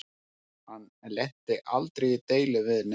Hann lenti aldrei í deilum við neinn.